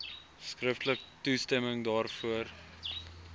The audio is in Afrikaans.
skriftelik toestemming daarvoor